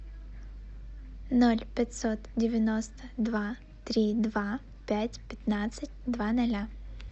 ноль пятьсот девяносто два три два пять пятнадцать два ноля